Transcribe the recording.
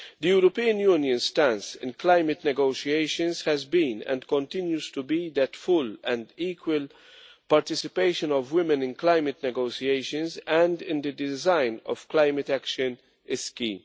European Union's stance in climate negotiations has been, and continues to be, that the full and equal participation of women in climate negotiations and in the design of climate action is key.